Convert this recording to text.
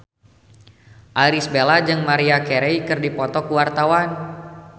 Irish Bella jeung Maria Carey keur dipoto ku wartawan